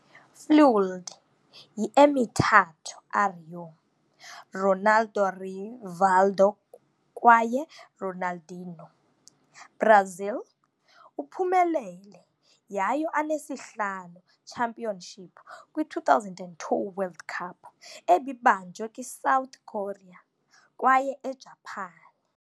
Fuelled yi - "Emithathu R U", Ronaldo, Rivaldo kwaye Ronaldinho, Brazil uphumelele yayo anesihlanu championship kwi-2002 World Cup, ebibanjwe kwi-South Korea kwaye eJapan.